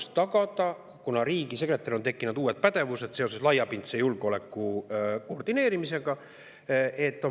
– tagada järjepidevus, kuna riigisekretäril olid tekkinud uued pädevused seoses laiapindse julgeoleku koordineerimisega.